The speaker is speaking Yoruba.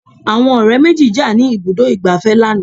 Àwọn ọ̀rẹ́ méjì jà ní ibùdó ìgbafẹ́ lánàá.